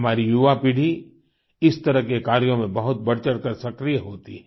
हमारी युवापीढ़ी इस तरह के कार्यों में बहुत बढ़चढ़ कर सक्रिय होती है